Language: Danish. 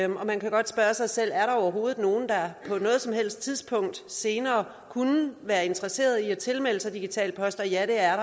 man kan godt spørge sig selv er der overhovedet nogen der på noget som helst tidspunkt senere kunne være interesseret i at tilmelde sig digital post ja det er